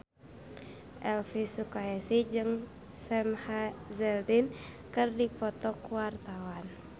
Elvi Sukaesih jeung Sam Hazeldine keur dipoto ku wartawan